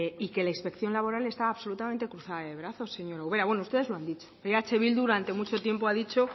y que la inspección laboral está absolutamente cruzada de brazos señora ubera bueno ustedes lo han dicho eh bildu durante mucho tiempo ha dicho